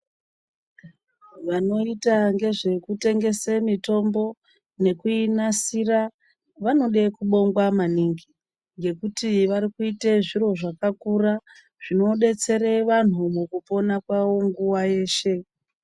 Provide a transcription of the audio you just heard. Vanoita ngezvekutengesa mitombo nekuinasira vanoda kubongwa maningi. Ngekuti vari kuita zviro zvakakura zvinodetsera vanhu mukupona kwavo nguwa yeshe.